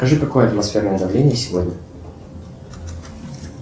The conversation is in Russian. скажи какое атмосферное давление сегодня